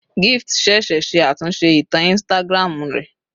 Gift ṣẹ̀ṣẹ̀ ṣe àtúnṣe ìtàn Instagram rẹ̀